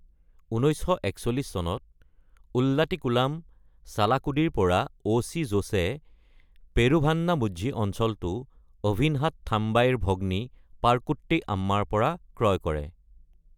১৯৪১ চনত উল্লাটিকুলাম, চালাকুডিৰ পৰা অ’ চি জোচে পেৰুভান্নামুঝি অঞ্চলটো অভিনহাট থাম্বাইৰ ভগ্নী পাৰকুট্টি আম্মাৰ পৰা ক্ৰয় কৰে।